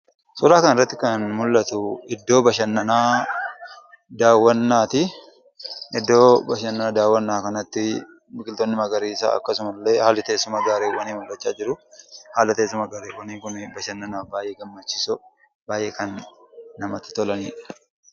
Suuraa kana irratti kan mul'atu, iddoo bashannanaa daawwannaati. Iddoo bashannanaa daawwannaa kanatti biqiltoonni magariisaa akkasuma illee haalli teessuma garreewwanii mul'achaa jiru. Haalli teessuma garreewwanii Kun bashannanaaf baayyee gammachiisoo, baayyee kan namatti tolanidha.